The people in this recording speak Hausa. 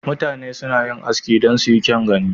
Mutane suna yin Aski don su yi kyau gani.